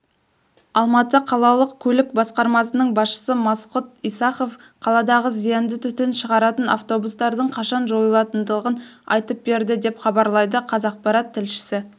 алматы қалалық көлік басқармасының басшысы мақсұт исахов қаладағы зиянды түтін шығаратын автобустардың қашан жойылатындығын айтып берді деп хабарлайды қазақпарат тілшісі